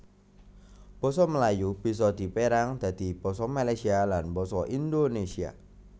Basa Melayu bisa dipérang dadi basa Malaysia lan basa Indonesia